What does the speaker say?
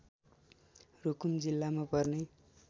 रुकुम जिल्लामा पर्ने